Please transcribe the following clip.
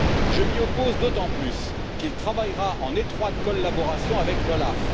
Je m'y oppose d'autant plus qu'il travaillera en étroite collaboration avec l'OLAF.